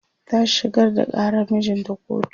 ta shigar da ƙarar mijinta kotu